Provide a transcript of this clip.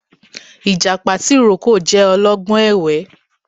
Ìjàpá tìrókò jẹ ọlọ́gbọ́n ẹ̀wẹ́